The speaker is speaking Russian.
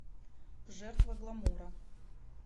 жертва гламура